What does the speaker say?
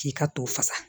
K'i ka to fasa